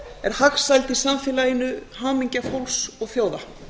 er hagsæld í samfélaginu hamingja fólks og þjóða